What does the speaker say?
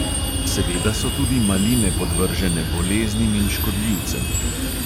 Seveda so tudi maline podvržene boleznim in škodljivcem.